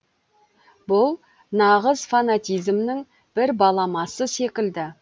бұл нағыз фанатизмнің бір баламасы секілді